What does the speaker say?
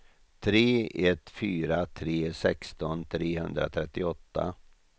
tre ett fyra tre sexton trehundratrettioåtta